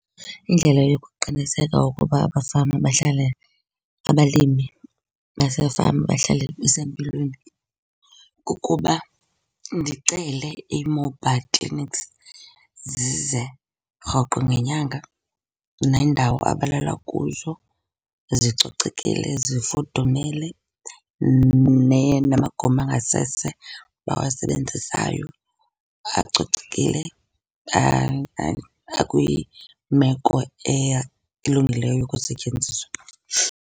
Indlela yokuqiniseka ukuba abafama bahlala, abalimi basefama bahlala besempilweni kukuba ndicele ii-mobile clinics zize rhoqo ngenyanga. Neendawo abalala kuzo zicocekile, zifudumele. Namagumbi angasese abawasebenzisayo acocekile, akwimeko elungileyo yokusetyenziswa.